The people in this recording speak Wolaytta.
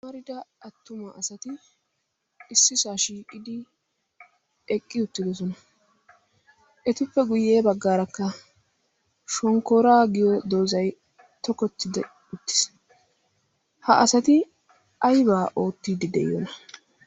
amarida attuma asati issi saa shiiqidi eqqi uttidosona etippe guyye baggaarakka shonkkora giyo doozay tokottide uttiis ha asati aybaa oottiddi de'iyoona?